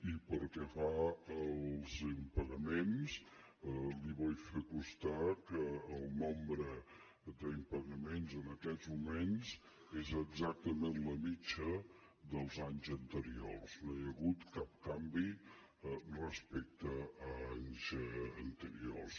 i pel que fa als impagaments li vull fer constar que el nombre d’impagaments en aquests moments és exactament la mitjana dels anys anteriors no hi ha hagut cap canvi respecte a anys anteriors